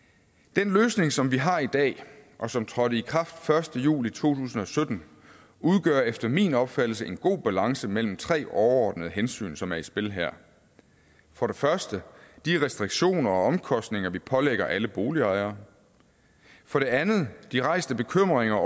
den løsning som vi har i dag og som trådte i kraft den første juli to tusind og sytten udgør efter min opfattelse en god balance mellem tre overordnede hensyn som er i spil her for det første de restriktioner og omkostninger vi pålægger alle boligejere for det andet de rejste bekymringer